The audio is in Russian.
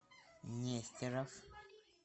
нестеров